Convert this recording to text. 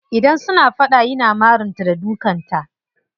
Idan suna fada yana marin ta da dukan ta.